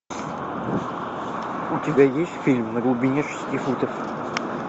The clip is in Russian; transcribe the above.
у тебя есть фильм на глубине шести футов